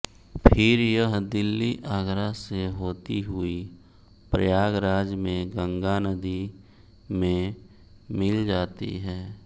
फिर यह दिल्ली आगरा से होती हुई प्रयागराज में गंगा नदी में मिल जाती है